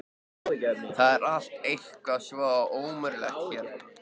Það er allt eitthvað svo ómögulegt hérna.